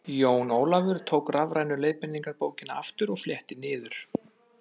Jón Ólafur tók rafrænu leiðbeiningarbókina aftur og fletti niður.